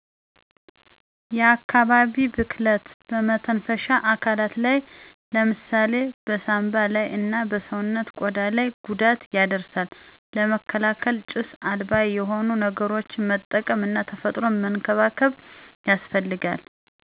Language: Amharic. የአካባቢ ብክለት በመተንፈሻ አካላት ላይ ለምሳሌ በሳምባ ላይ እና በሰዉነት ቆዳ ላይ ጉዳት ያደርሳል ለመከላከል ጭስ አልባ የሆኑ ነገሮችን መጠቀም እና ተፈጥሮን መንከባከብ ያስፈልጋል።